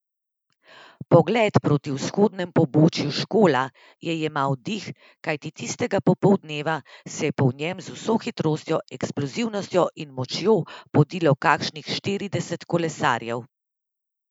Pogled proti vzhodnemu pobočju Škola je jemal dih, kajti tistega popoldneva se je po njem z vso hitrostjo, eksplozivnostjo in močjo podilo kakšnih štirideset kolesarjev.